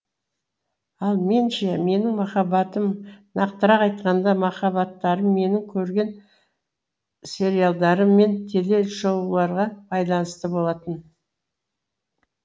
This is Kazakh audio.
ал мен ше менің махаббатым нақтырақ айтқанда махаббаттарым менің көрген сериалдарым мен теле шоуларға байланысты болатын